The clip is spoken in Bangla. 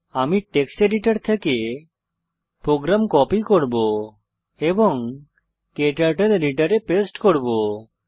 আমি টেক্সট এডিটর থেকে প্রোগ্রাম কপি করব এবং ক্টার্টল এডিটরে পেস্ট করব